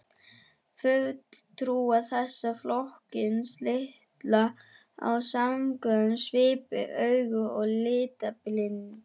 Fulltrúar þessa flokks líta á samkynhneigð svipuðum augum og litblindu.